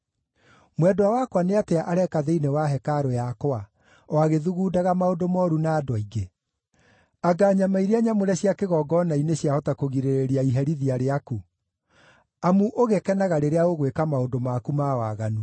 “Mwendwa wakwa nĩ atĩa areka thĩinĩ wa hekarũ yakwa, o agĩthugundaga maũndũ mooru na andũ aingĩ? Anga nyama iria nyamũre cia kĩgongona-inĩ ciahota kũgirĩrĩria iherithia rĩaku? Amu ũgĩkenaga rĩrĩa ũgwĩka maũndũ maku ma waganu.”